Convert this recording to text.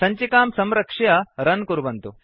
सञ्चिकां संरक्ष्य रन् कुर्वन्तु